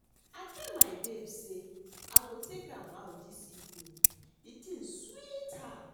I tell my babe say I go take am out dis evening the thing sweet her